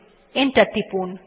enter টিপুন